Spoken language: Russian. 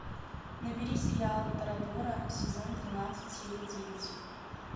набери сериал торадора сезон тринадцать серия девять